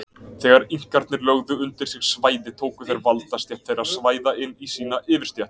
Þegar Inkarnir lögðu undir sig svæði tóku þeir valdastétt þeirra svæða inn í sína yfirstétt.